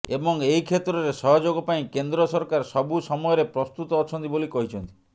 ଏବଂ ଏହି କ୍ଷେତ୍ରରେ ସହଯୋଗ ପାଇଁ କେନ୍ଦ୍ର ସରକାର ସବୁ ସମୟରେ ପ୍ରସ୍ତୁତ ଅଛନ୍ତି ବୋଲି କହିଛନ୍ତି